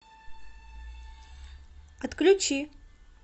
отключи